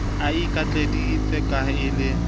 a ikitlaheditse ha e le